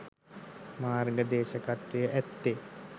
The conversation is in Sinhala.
මාර්ග දේශකත්වය ඇත්තේ